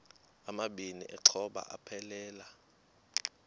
amabini exhobe aphelela